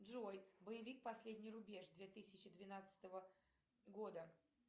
джой боевик последний рубеж две тысячи двенадцатого года